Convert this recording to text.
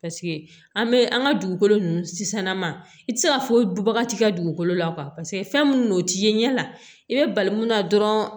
an bɛ an ka dugukolo nunnu sisan ma i ti se ka foyi dubaga ti ka dugukolo la fɛn minnu don o t'i ye ɲɛ la i be bali mun na dɔrɔn